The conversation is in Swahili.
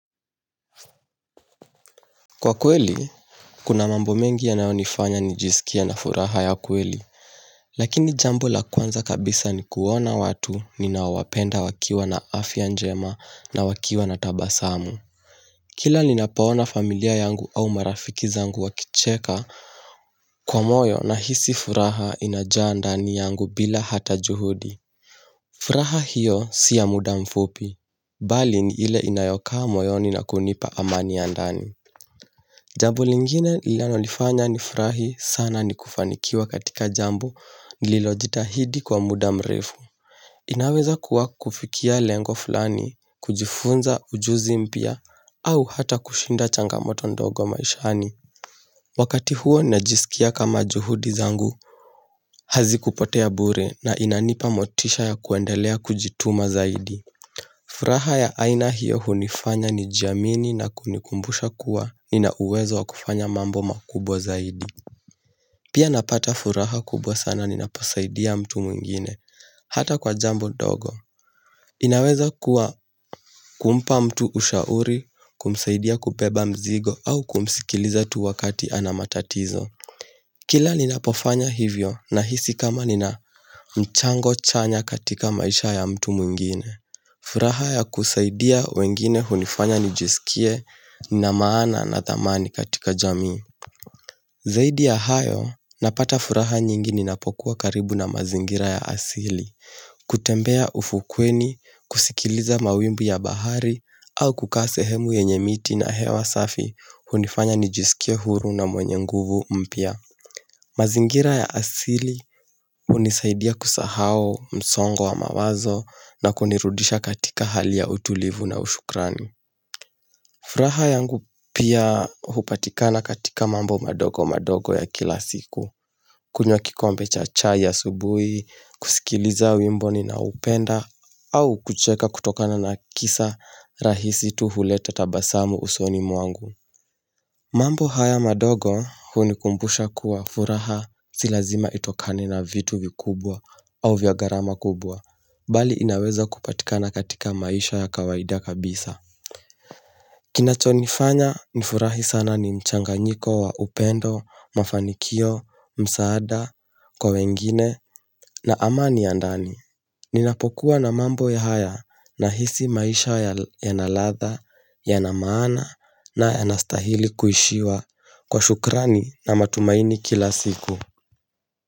Kwa kweli, kuna mambo mengi yanayonifanya nijisikie na furaha ya kweli. Lakini jambo la kwanza kabisa ni kuona watu ninaowapenda wakiwa na afya njema na wakiwa na tabasamu. Kila ninapoona familia yangu au marafiki zangu wakicheka kwa moyo nahisi furaha inajaa ndani yangu bila hata juhudi. Furaha hiyo si ya muda mfupi, bali ni ile inayokaa moyoni na kunipa amani ya ndani. Jambo lingine linalonifanya nifurahi sana ni kufanikiwa katika Jambo lililojitahidi kwa muda mrefu. Inaweza kuwa kufikia lengo fulani, kujifunza ujuzi mpya, au hata kushinda changamoto ndogo maishani. Wakati huo najisikia kama juhudi zangu, hazikupotea bure na inanipa motisha ya kuendelea kujituma zaidi. Furaha ya aina hiyo hunifanya nijiamini na kunikumbusha kuwa Nina uwezo wa kufanya mambo makubwa zaidi Pia napata furaha kubwa sana ninaposaidia mtu mwingine Hata kwa jambo dogo inaweza kuwa kumpa mtu ushauri kumsaidia kubeba mzigo au kumsikiliza tu wakati ana matatizo Kila ninapofanya hivyo Nahisi kama nina mchango chanya katika maisha ya mtu mwingine furaha ya kusaidia wengine hunifanya nijisikie na maana na thamani katika jamii Zaidi ya hayo napata furaha nyingi ninapokuwa karibu na mazingira ya asili kutembea ufukweni, kusikiliza mawimbi ya bahari au kukaa sehemu yenye miti na hewa safi hunifanya nijisikie huru na mwenye nguvu mpya mazingira ya asili unisaidia kusahao msongo wa mawazo na kunirudisha katika hali ya utulivu na ushukrani furaha yangu pia hupatikana katika mambo madogo madogo ya kila siku kunywa kikombe cha chai asubui, kusikiliza wimbo ninaupenda au kucheka kutokana na kisa rahisi tu huleta tabasamu usoni mwangu mambo haya madogo hunikumbusha kuwa furaha si lazima itokane na vitu vikubwa au vya garama kubwa, bali inaweza kupatikana katika maisha ya kawaida kabisa. Kinachonifanya nifurahi sana ni mchanganyiko wa upendo, mafanikio, msaada, kwa wengine na amani ya ndani Ninapokuwa na mambo haya nahisi maisha yana ladha, yana maana na yanastahili kuishiwa kwa shukrani na matumaini kila siku.